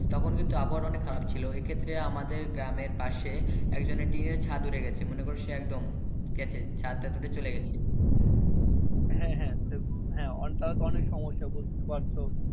তখন কিন্তু আবহাওয়া টা অনেক খারাপ ছিল এ ক্ষেত্রে আমাদের গ্রামের পাশে একজনের টিনের ছাদ উড়ে গেছে মনে করো সে একদম গেছে ছাদ তাদ উড়ে চলে গেছে। হ্যা হ্যা তো অনেক সমস্যা বোঝতে তো পারছো।